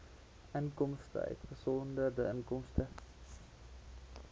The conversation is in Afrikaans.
inkomste uitgesonderd inkomste